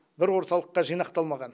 бір орталыққа жинақталмаған